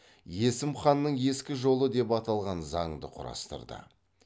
есім ханның ескі жолы деп аталған заңды құрастырды